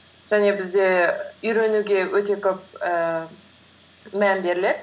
және бізде үйренуге өте көп ііі мән беріледі